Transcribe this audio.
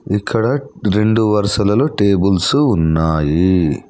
ఇక్కడ రెండు వరుసలలో టేబుల్స్ ఉన్నాయి.